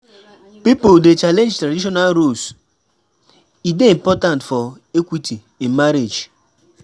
Pipo dey challenge traditional roles; e dey important for equity in marriage.